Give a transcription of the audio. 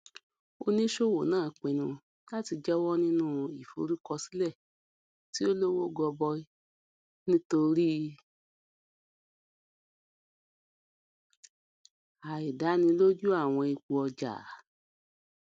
oníṣòwò náà pinnu láti jáwọ nínú ìforúkọsílẹ tí ó lówó gọbọi nítorí àìdánilójú àwọn ipò ọjà